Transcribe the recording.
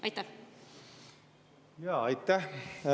Aitäh!